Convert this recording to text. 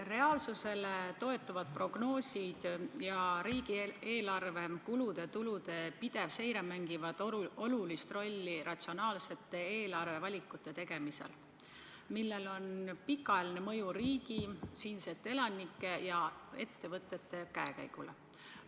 Reaalsusele toetuvad prognoosid ja riigieelarve kulude-tulude pidev seire mängivad olulist rolli ratsionaalsete eelarvevalikute tegemisel, millel on pikaajaline mõju riigi, siinsete elanike ja ettevõtete käekäigule.